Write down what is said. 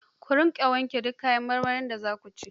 Ku riƙa wanke du kayan marmarin da zu ci.